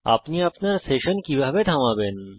আপনি আপনার সেশন কিভাবে থামাবেন